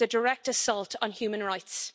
It is a direct assault on human rights.